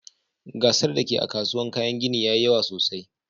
Gasar da ke a'kasuwan kayan ginin yayi yawa sosai.